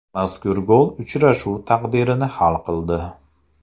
Mazkur gol uchrashuv taqdirini hal qildi.